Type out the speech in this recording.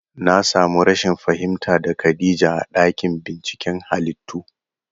Na samu rashin fahimta da khadija a ɗakin binciken halittu